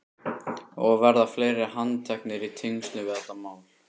Og verða fleiri handteknir í tengslum við þetta mál?